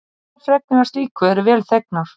Allar fregnir af slíku eru vel þegnar.